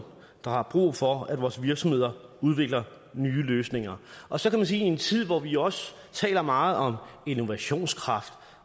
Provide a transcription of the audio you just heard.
der har brug for at vores virksomheder udvikler nye løsninger og så kan man sige at i en tid hvor vi også taler meget om innovationskraft